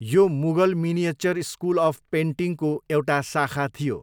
यो Mughal miniature school of पेन्टिङको एउटा शाखा थियो।